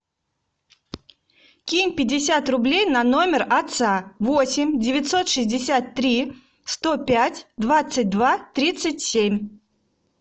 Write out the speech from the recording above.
кинь пятьдесят рублей на номер отца восемь девятьсот шестьдесят три сто пять двадцать два тридцать семь